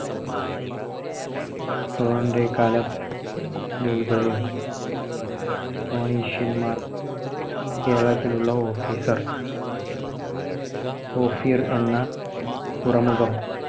കാലം ഫൊണീഷ്യന്മാർ കേരളത്തിലുള്ള officer ഓഫിർ എന്ന തുറമുഖം